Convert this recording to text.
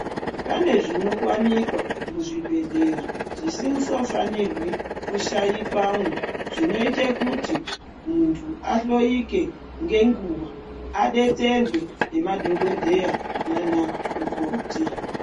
Pane zvinowanikwa muzvibhedhlera zvisisofanirwi kushaikwamo zvinoite kuti muntu ahloyike ngenguwa, adetserwe ngemadhogodheya nanamukoti.